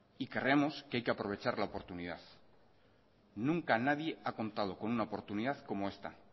creemos que hay que aprovechar la oportunidad nunca nadie ha contado con una oportunidad como esta